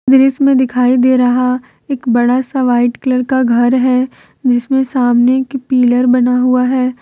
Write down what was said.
दृश्य में दिखाई दे रहा एक बड़ा सा व्हाइट कलर का घर है जिसमें सामने एक पिलर बना हुआ है।